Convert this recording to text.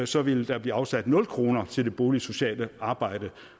så vil der blive afsat nul kroner til det boligsociale arbejde